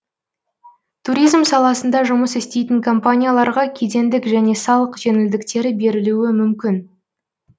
туризм саласында жұмыс істейтін компанияларға кедендік және салық жеңілдіктері берілуі мүмкін